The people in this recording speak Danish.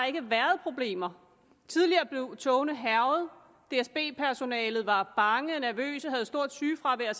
ikke været problemer tidligere blev togene hærget dsb personalet var bange nervøse havde stort sygefravær